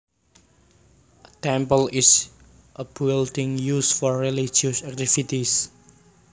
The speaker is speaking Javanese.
A temple is a building used for religious activities